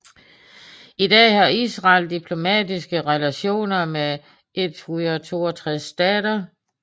I dag har Israel diplomatiske relationer med 162 stater